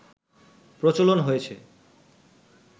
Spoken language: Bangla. প্রচলন হয়েছে